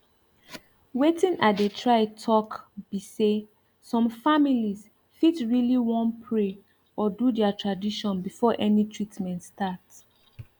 wetin i dey try talk be say some families fit really wan pray or do their tradition before any treatment start